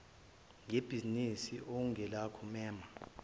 ngebhizinisi okungelakho mema